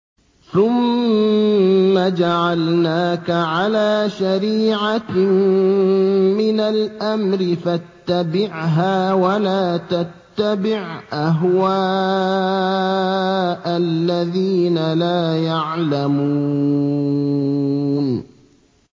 ثُمَّ جَعَلْنَاكَ عَلَىٰ شَرِيعَةٍ مِّنَ الْأَمْرِ فَاتَّبِعْهَا وَلَا تَتَّبِعْ أَهْوَاءَ الَّذِينَ لَا يَعْلَمُونَ